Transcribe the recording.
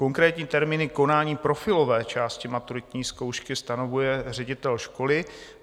Konkrétní termíny konání profilové části maturitní zkoušky stanovuje ředitel školy.